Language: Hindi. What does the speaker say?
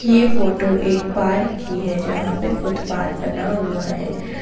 यह फोटो एक पार्क की है जहां पर फुटपाथ बना हुआ है।